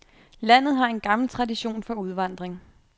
Landet har en gammel tradition for udvandring.